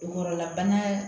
Kɔrɔlabana